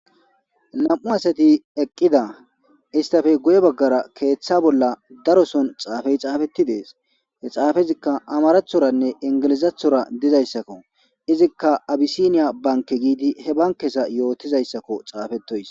nam7u asati eqqida istafe guye baggara keeththa bolla daroson xaafey xaafetti dees he xaafezikka amarathoranne ingilizathora dizayssakko izikka abisiniya banke giidi he bankesa yootizayssakko xaafetoys